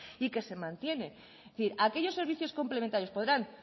y que se mantiene es decir aquellos servicios complementarios podrán